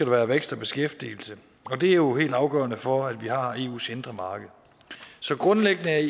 være vækst og beskæftigelse og det er jo helt afgørende for at vi har eus indre marked så grundlæggende er